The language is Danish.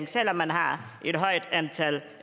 selv om man har et højt antal